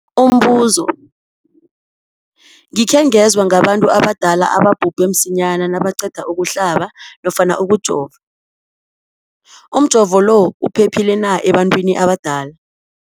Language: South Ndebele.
Umbuzo, gikhe ngezwa ngabantu abadala ababhubhe msinyana nabaqeda ukuhlaba nofana ukujova. Umjovo lo uphephile na ebantwini abadala?